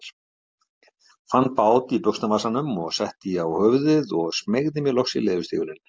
Fann bát í buxnavasanum og setti á höfuðið og smeygði mér loks í leðurstígvélin.